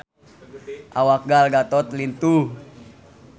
Awak Gal Gadot lintuh